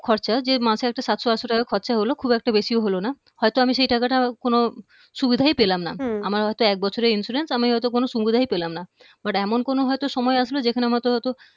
খরচা যে মাসে একটা সাতশ আটশ টাকা খরচা হলো খুব একটা বেশিও হলো না হয়ত আমি সেই টাটকা কোনো সুবিধাই পেলামনা হম আমার হয়ত এক বছরের insurance আমি হয়ত কোন সুবিধাই পেলামনা but এমন কোনো হয়ত সময় আসবে যেখানে আমারতো হয়তো